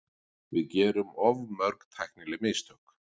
Við gerum of mörg tæknileg mistök.